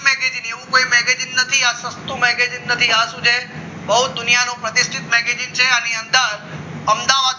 એવું કંઈ magazine નથી આપતો magazine નથી આ શું છે બહુ દુનિયાને આની અંદર અમદાવાદ